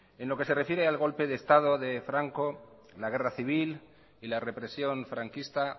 en lo que se refiere al golpe de estado de franco la guerra civil y la represión franquista